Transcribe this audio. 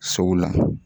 Sow la